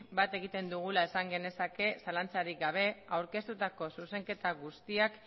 bat egiten dugula esan genezake zalantzarik gabe aurkeztutako zuzenketa guztiak